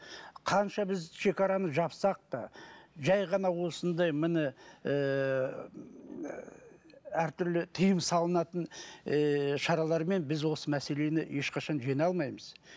қанша біз шекараны жапсақ та жай ғана осындай міні ыыы әртүрлі тыйым салынатын ыыы шаралармен біз осы мәселені ешқашан жеңе алмаймыз